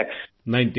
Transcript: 90 lakh